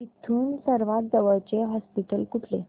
इथून सर्वांत जवळचे हॉस्पिटल कुठले